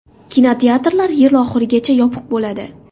Kinoteatrlar yil oxirigacha yopiq bo‘ladi.